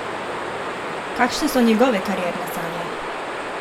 Kakšne so njegove karierne sanje?